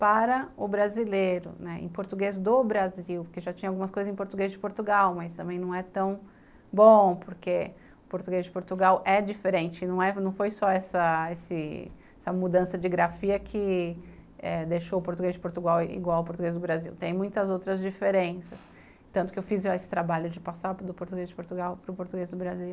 para o brasileiro, né, em português do Brasil, porque já tinha algumas coisas em português de Portugal, mas também não é tão bom, porque o português de Portugal é diferente, não é, não foi só essa esse mudança de grafia que deixou o português de Portugal igual ao português do Brasil, tem muitas outras diferenças, tanto que eu fiz esse trabalho de passar do português de Portugal para o português do Brasil.